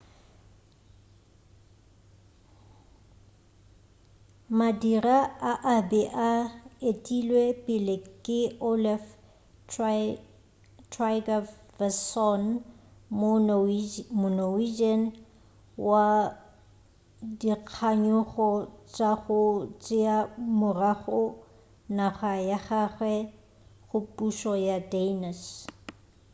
madira a a be a etilwe pele ke olaf trygvasson mo-norwegian wa dikganyogo tša go tšea morago naga ya gagwe go pušo ya danish